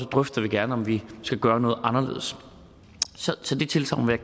drøfter jeg gerne om vi skal gøre noget anderledes så det tilsagn vil